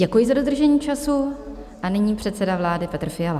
Děkuji za dodržení času a nyní předseda vlády Petr Fiala.